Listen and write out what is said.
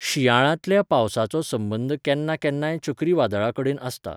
शिंयाळ्यांतल्या पावसाचो संबंद केन्ना केन्नाय चक्रीवादळां कडेन आसता.